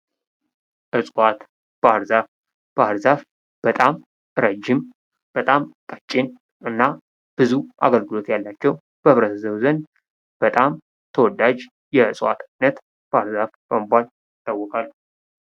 እጽዋት ባህር ዛፍ በጣም ረጅም በጣም ቀጭን ብዙ አገልግሎት ያላቸው በማህበረሰቡ ዘንድ በጣም ተወዳጅነት ያላቸው የዕዋት አይነት ባህር ዛፍ በመባል ይታወቃል።